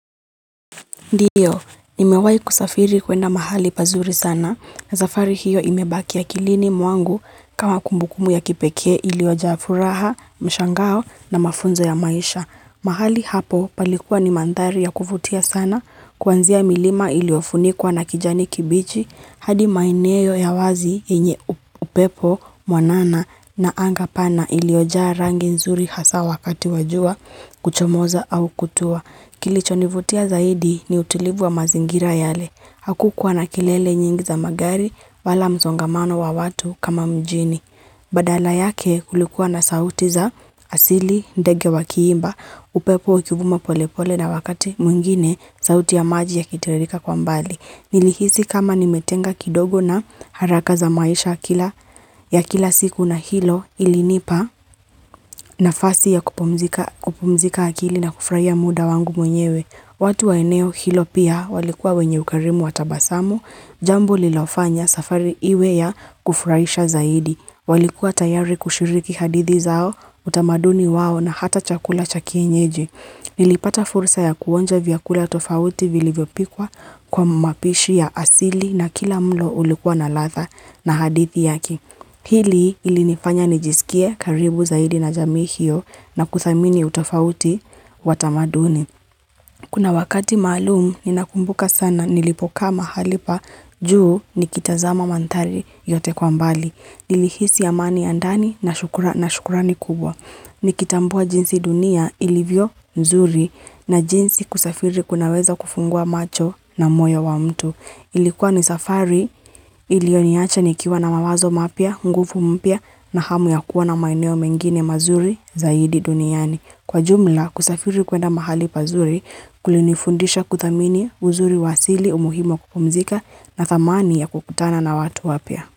Ndiyo, nimewayi kusafiri kwenda mahali pazuri sana, na zafari hiyo imebaki yakilini mwangu kama kumbukumu ya kipekee ilioja furaha, mshangao na mafunzo ya maisha. Mahali hapo palikuwa ni mandari ya kufutia sana, kwanzia milima iliofunikuwa na kijani kibichi, hadi maineyo ya wazi yenye upepo, mwanana na angapana ilioja rangi nzuri hasa wakati wajua, kuchomoza au kutua. Kilichonivutia zaidi ni utilivu wa mazingira yale. Hakukua na kelele nyingi za magari wala mzongamano wa watu kama mjini. Badala yake kulikuwa na sauti za asili ndege wa kiimba upepo ukivuma polepole na wakati mwingine sauti ya maji yakitirika kwa mbali. Nilihisi kama nimetenga kidogo na haraka za maisha ya kila ya kila siku na hilo ilinipa nafasi ya kupumzika akili na kufraia muda wangu mwenyewe. Watu waeneo hilo pia walikuwa wenye ukarimu watabasamu, jambo lilofanya safari iwe ya kufraisha zaidi. Walikuwa tayari kushiriki hadithi zao, utamaduni wao na hata chakula chakienyeji. Nilipata fursa ya kuonja vyakula tofauti vilivyopikwa kwa mwapishi ya asili na kila mlo ulikuwa na latha na hadithi yake. Hili ilinifanya nijisikie karibu zaidi na jami hiyo na kuthamini utofauti watamaduni. Kuna wakati malumu ninakumbuka sana nilipoka mahali pa juu nikitazama mantari yote kwa mbali. Nilihisi amani ya ndani na shukurani kubwa. Ni kitambua jinsi dunia ilivyo nzuri na jinsi kusafiri kunaweza kufungua macho na moyo wa mtu. Ilikuwa ni safari ilioniacha nikiwa na mawazo mapia, ngufu mpia na hamu ya kuwa na maeneo mengine mazuri zaidi duniani. Kwa jumla kusafiri kwenda mahali pazuri kulinifundisha kuthamini uzuri wasili umuhimo kupumzika na thamani ya kukutana na watu wapia.